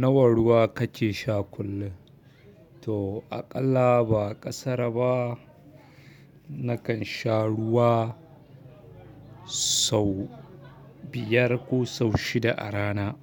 Nawa ruwa kake sha kullum? To aƙalla ba ƙasara ba, nakan sha ruwa sau biyar ko sau shida a rana.